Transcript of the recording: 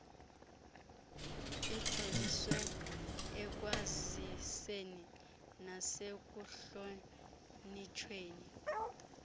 ejoliswe ekwaziseni nasekuhlonitshweni